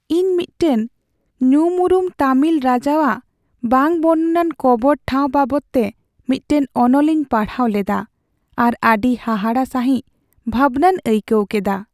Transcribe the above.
ᱤᱧ ᱢᱤᱫᱴᱟᱝ ᱧᱩᱢᱩᱨᱩᱢ ᱛᱟᱹᱢᱤᱞ ᱨᱟᱡᱟᱣᱟᱜ ᱵᱟᱝ ᱵᱚᱨᱱᱚᱱᱟᱱ ᱠᱚᱵᱚᱨ ᱴᱷᱟᱶ ᱵᱟᱵᱚᱫᱛᱮ ᱢᱤᱫᱴᱟᱝ ᱚᱱᱚᱞᱤᱧ ᱯᱟᱲᱦᱟᱣ ᱞᱮᱫᱟ ᱟᱨ ᱟᱹᱰᱤ ᱦᱟᱦᱟᱲᱟᱜ ᱥᱟᱹᱦᱤᱡ ᱵᱷᱟᱵᱱᱟᱧ ᱟᱹᱭᱠᱟᱹᱣ ᱠᱮᱫᱟ ᱾